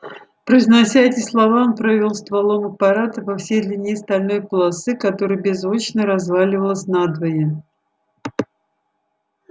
произнося эти слова он провёл стволом аппарата по всей длине стальной полосы которая беззвучно развалилась надвое